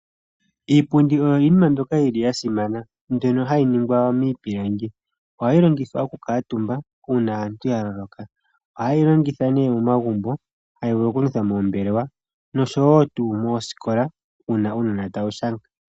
Iipundi oyo iinima mbyono yasimana mbyono hayi ningwa miipilangi. Ohayi longithwa okukuutumba uuna aantu yaloloka. Ohayeyi longitha momagumbo tayi vulu okulingitha moombelewa nosho tuu moooskola uuna uunona tawu nyola.